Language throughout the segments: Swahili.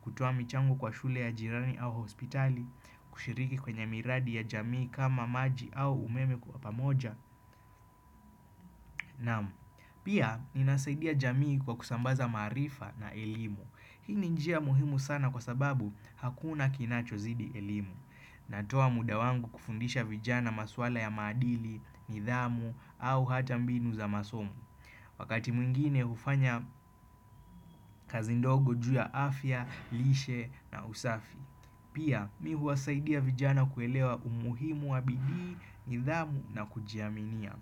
kutoa michango kwa shule ya jirani au hospitali, kushiriki kwenye miradi ya jamii kama maji au umeme kwa pamoja, namu. Pia, inasaidia jamii kwa kusambaza marifa na elimu. Hii ni njia muhimu sana kwa sababu hakuna kinacho zidi elimu. Natoa muda wangu kufundisha vijana maswala ya madili, nidhamu au hata mbinu za masomo. Wakati mwingine hufanya kazi ndogo juu ya afya, lishe na usafi. Pia mi huwasaidia vijana kuelewa umuhimu wa bidii, nidhamu na kujiaminia.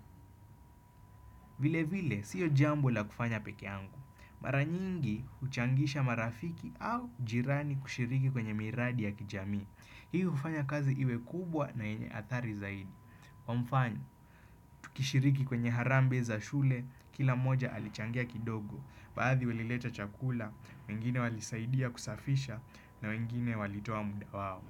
Vile vile, siyo jambu la kufanya peke angu. Mara nyingi, uchangisha marafiki au jirani kushiriki kwenye miradi ya kijami. Hii hufanya kazi iwe kubwa na enye athari zaidi. Kwa mfano, tukishiriki kwenye harambe za shule, kila moja alichangia kidogo, baadhi welileta chakula, wengine walisaidia kusafisha na mengine walitoa muda wao.